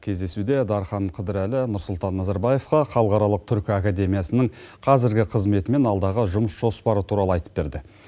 кездесуде дархан қыдырәлі нұрсұлтан назарбаевқа халықаралық түркі академиясының қазіргі қызметі мен алдағы жұмыс жоспары туралы айтып берді